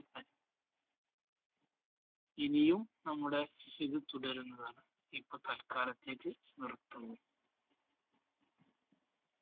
ഇനിയും നമ്മുടെ ഇത് തുടരുന്നതാണ് ഇപ്പോ തൽക്കാലത്തേക്ക് നിർത്തുന്നു.